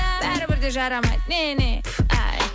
бәрібірде жарамайды не не пф ай